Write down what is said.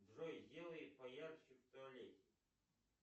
джой сделай поярче в туалете